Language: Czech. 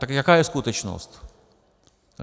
Tak jaká je skutečnost?